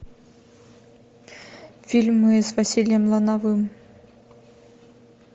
фильмы с василием лановым